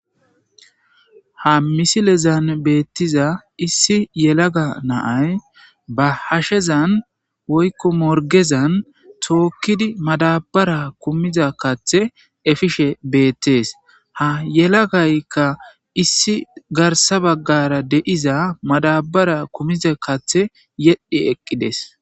Ha misilezan beettiza issi yelaga na7ay ba hashezan woykko morgezan tookkidi madabara kumiza kathe efishe beettees ha yelagaykka issi garsa baggara de7iza madabara kumiza kathe yedhi eqqides.